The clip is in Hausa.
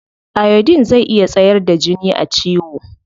Iodine zai iya tsayar da jini a ciwo.